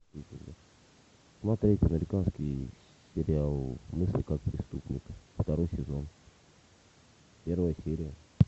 смотреть американский сериал мыслить как преступник второй сезон первая серия